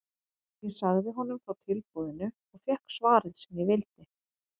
Ég sagði honum frá tilboðinu og fékk svarið sem ég vildi.